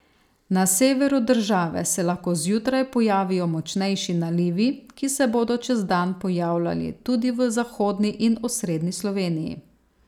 Na severu države se lahko zjutraj pojavijo močnejši nalivi, ki se bodo čez dan pojavljali tudi v zahodni in osrednji Sloveniji.